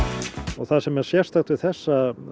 það sem er sérstakt við þessa